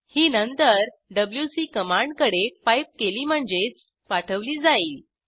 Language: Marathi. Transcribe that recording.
ही नंतर डब्ल्यूसी कमांडकडे पाईप केली म्हणजेच पाठवली जाईल